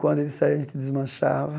Quando eles saía, a gente desmanchava.